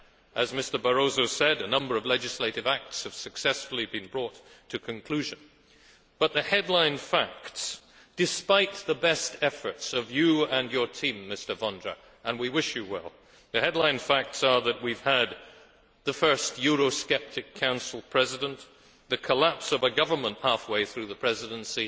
As Mr Barroso said, a number of legislative acts have successfully been brought to conclusion, but the headline facts despite the best efforts of you and your team, Mr Vondra, and we wish you well are that we have had the first Eurosceptic Council President and the collapse of a government half way through the Presidency.